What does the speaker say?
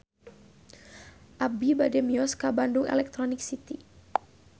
Abi bade mios ka Bandung Electronic City